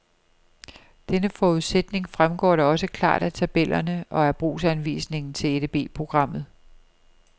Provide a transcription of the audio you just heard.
Denne forudsætning fremgår da også klart af tabellerne og af brugsanvisningen til EDB programmet.